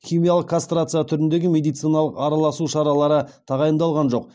химиялық кастрация түріндегі медициналық араласу шаралары тағайындалған жоқ